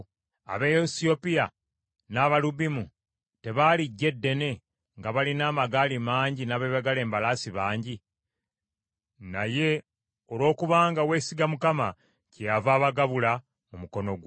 Abaesiyopiya n’Abalubimu tebaali ggye ddene nga balina amagaali mangi n’abeebagala embalaasi bangi? Naye, olwokubanga weesiga Mukama , kyeyava abagabula mu mukono gwo.